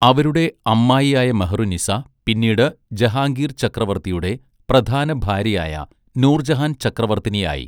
അവരുടെ അമ്മായിയായ മെഹറുന്നിസ്സ പിന്നീട് ജഹാംഗീർ ചക്രവർത്തിയുടെ പ്രധാനഭാര്യയായ നൂർജഹാൻ ചക്രവർത്തിനിയായി.